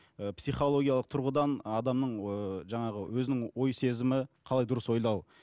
ыыы психологиялық тұрғыдан адамның ыыы жаңағы өзінің ой сезімі қалай дұрыс ойлау